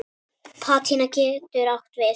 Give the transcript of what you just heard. Patína getur átt við